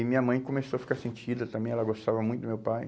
E minha mãe começou a ficar sentida também, ela gostava muito do meu pai.